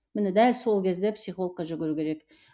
міне дәл сол кезде психологке жүгіру керек